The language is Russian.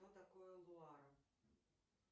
что такое луара